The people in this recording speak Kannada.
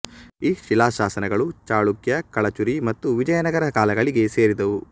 ಈ ಶಿಲಾಶಾಸನಗಳು ಚಾಳುಕ್ಯ ಕಳಚುರಿ ಮತ್ತು ವಿಜಯನಗರ ಕಾಲಗಳಿಗೆ ಸೇರಿದವು